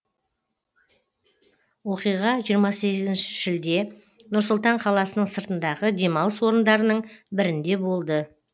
оқиға жиырма сегізінші шілде нұр сұлтан қаласының сыртындағы демалыс орындарының бірінде болды